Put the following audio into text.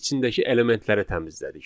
içindəki elementləri təmizlədik.